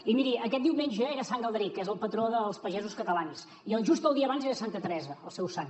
i miri aquest diumenge era sant galderic que és el patró dels pagesos catalans i just el dia abans era santa teresa el seu sant